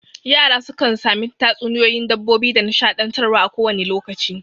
Yara sukan sami tatsuniyoyin dabbobi da nishaɗantar wa a ko wane lokaci